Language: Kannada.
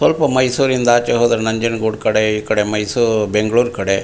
ಸ್ವಲ್ಪ ಮೈಸೂರ್ ಇಂದ ಆಚೆಗೆ ಹೋದ್ರೆ ನಂಜನಗೂಡು ಕಡೆ ಈ ಕಡೆ ಮೈಸೂರ್ ಬೆಂಗಳೂರು ಕಡೆ.